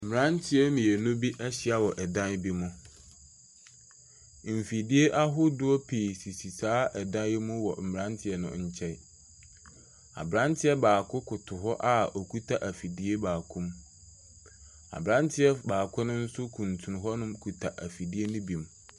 Mmeranteɛ mmienu bi ahyia wɔ dan bi mu, mfidie ahodoɔ sisi saa dan yi mu wɔ mmeranteɛ no nkyɛn. Aberanteɛ baako koto hɔ a okita afidie baako mu, aberanteɛ baako ne nso kuntun hɔnom kita afidie ne bi mu.